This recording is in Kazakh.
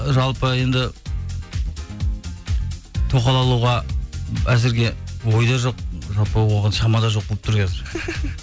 ы жалпы енді тоқал алуға әзірге ойда жоқ жалпы оған шама да жоқ болып тұр қазір